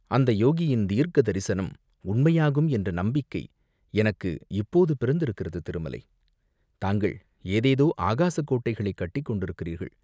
அந்த யோகியின் தீர்க்க தரிசனம் உண்மையாகும் என்ற நம்பிக்கை எனக்கு இப்போது பிறந்திருக்கிறது, திருமலை, தாங்கள் ஏதேதோ ஆகாசக் கோட்டைகள் கட்டிக் கொண்டிருக்கிறீர்கள்.